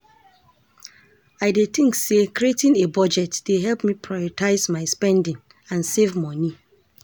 I dey think say creating a budget dey help me prioritize my spending and save monie.